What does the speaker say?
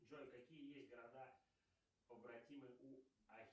джой какие есть города побратимы у